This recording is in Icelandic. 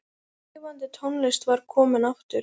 Lifandi tónlist var komin aftur.